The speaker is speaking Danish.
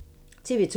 TV 2